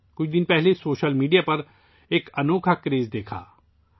کچھ دن پہلے سوشل میڈیا پر ایک حیرت انگیز کریز دیکھنے میں آیا